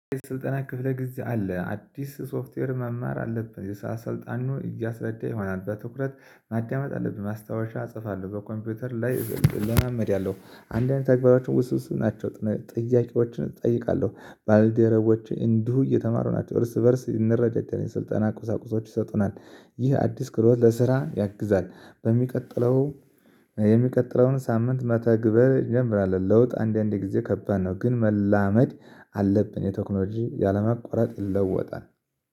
ስልጠና ክፍለ ጊዜ አለ። አዲስ ሶፍትዌር መማር አለብህ የሰላሰልጣኑ እያስረዳ ይሆናል በትኩረት ማዳመጥ አለብን። ማስታወሻ እጽፋለሁ በኮምፒውተር ላይ እለማመድ ያለው አንዳንድ ተግባራችን ውስውስት ናቸው። ጥያቄዎችን እጠይቃለሁ ባለደረቦቼ እንዲሁ እየተማሩ ናቸው እርስ በእርስ እንረዳዳለን የስልጠና ቁሳቁሶች ይሰጡናል። ይህ አዲስ ክሎት ለስራ ያግዛል። በሚቀጥለው የሚቀጥለውን ሳምንት መተግበር ይጀምራል። ለውጥ አንዳንዴ ጊዜ ከባድ ነው ግን መላመድ አለብን። የቴክኖሎጂ ያለማቋረጥ ይለወጣል